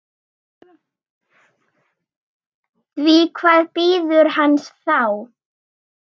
Því hvað bíður hans þá?